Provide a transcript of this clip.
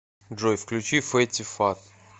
джой включи фэтти фат